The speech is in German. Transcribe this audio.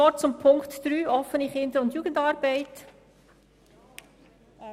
Noch ein Wort zu Punkt 3 betreffend die Offene Kinder- und Jugendarbeit (OKJA):